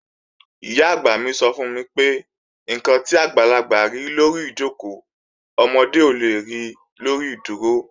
Ìyá-àgbà mi sọ fún mi pé, "ǹkan tí àgbàlagbà rí lórí ìjòkó, ọmọdé ò le ri lórí ìdúró"